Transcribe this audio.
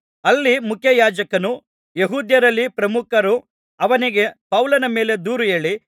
ಅಲ್ಲಿ ಮುಖ್ಯಯಾಜಕನೂ ಯೆಹೂದ್ಯರಲ್ಲಿ ಪ್ರಮುಖರೂ ಅವನಿಗೆ ಪೌಲನ ಮೇಲೆ ದೂರು ಹೇಳಿ